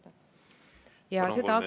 Palun!